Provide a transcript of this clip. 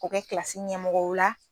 K'o kɛ kilasi ɲɛmɔgɔ ye o la